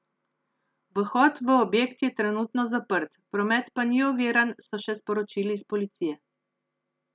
Vhod v objekt je trenutno zaprt, promet pa ni oviran, so še sporočili iz policije.